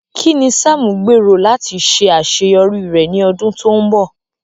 Kín ni Sam gbèrò láti ṣe àṣeyọrí rẹ̀ ní ọdún tó ń bọ̀?